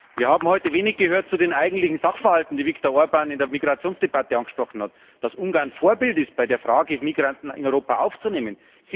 Wir haben heute wenig gehört zu den eigentlichen Sachverhalten, die Viktor Orbán in der Migrationsdebatte angesprochen hat, dass Ungarn Vorbild ist bei der Frage, Migranten in Europa aufzunehmen.